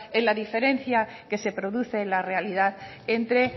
en la diferencia que se produce en la realidad entre